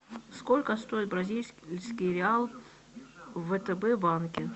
сколько стоит бразильский реал в втб банке